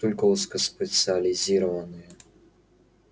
только узкоспециализированные